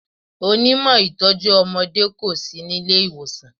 Onímọ̀ ìtọ́jú ọmọdé kò sí nílé ìwòsàn.